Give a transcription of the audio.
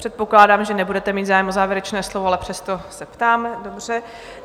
Předpokládám, že nebudete mít zájem o závěrečné slovo, ale přesto se ptám.